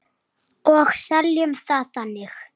Og seljum það þannig.